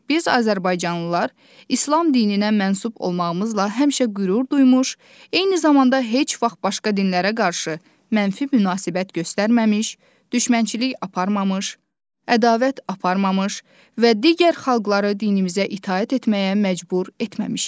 Biz azərbaycanlılar İslam dininə mənsub olmağımızla həmişə qürur duymuş, eyni zamanda heç vaxt başqa dinlərə qarşı mənfi münasibət göstərməmiş, düşmənçilik aparmamış, ədavət aparmamış və digər xalqları dinimizə itaət etməyə məcbur etməmişik.